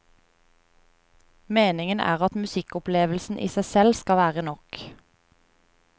Meningen er at musikkopplevelsen i seg selv skal være nok.